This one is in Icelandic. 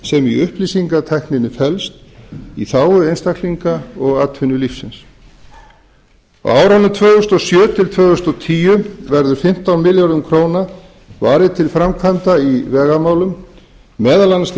í upplýsingatækninni felst í þágu einstaklinga og atvinnulífsins á árunum tvö þúsund og sjö til tvö þúsund og tíu verður fimmtán milljörðum króna varið til framkvæmda í vegamálum meðal annars